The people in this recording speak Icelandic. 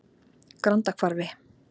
Grandahvarfi